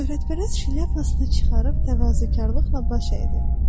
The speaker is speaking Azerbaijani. Şöhrətpərəst şlyapasını çıxarıb təvazökarlıqla baş əydi.